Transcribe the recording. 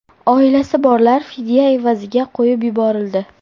Oilasi borlar fidya evaziga qo‘yib yuborildi.